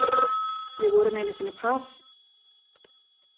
Við vorum einu sinni par.